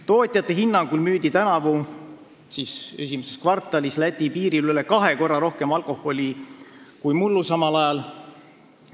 Tootjate hinnangul müüdi tänavu esimeses kvartalis Läti piiril üle kahe korra rohkem alkoholi kui mullu samal ajal.